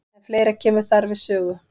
En fleira kemur þar við sögu.